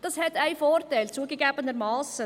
Das hat einen Vorteil, zugegebenermassen.